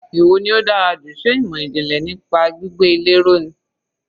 Èwo ni ó dára jù, ṣe ìmọ̀ ìjìnlẹ̀ nípa gbígbé ilé ró ni.